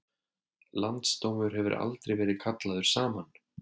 Landsdómur hefur aldrei verið kallaður saman